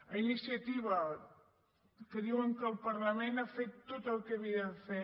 a iniciativa que diuen que el parlament ha fet tot el que havia de fer